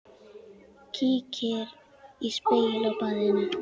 Kíkir í spegil á baðinu.